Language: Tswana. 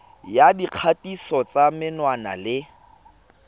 ya dikgatiso tsa menwana le